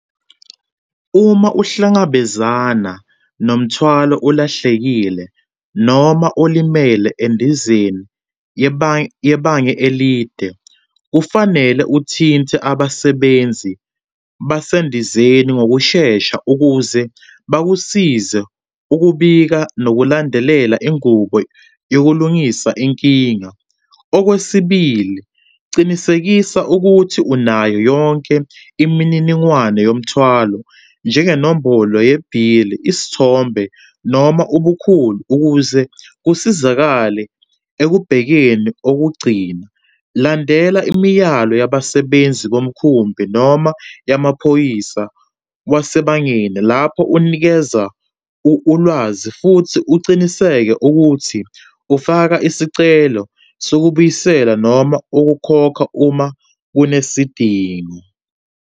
Uma uhlangabezana nomthwalo olahlekile noma olimele endizeni yebanga elide, kufanele uthinte abasebenzi basendizeni ngokushesha ukuze bakusize ukubika, nokulandelela ingubo yokulungisa inkinga. Okwesibili, cinisekisa ukuthi unayo yonke imininingwane yomthwalo, njengenombolo yebhili, isithombe noma ubukhulu ukuze kusizakale ekubhekeni. Okugcina, landela imiyalelo yabasebenzi bomkhumbi noma yamaphoyisa wasebangeni lapho unikeza ulwazi, futhi uciniseke ukuthi ufaka isicelo sokubuyisela noma ukukhokha uma kunesidingo.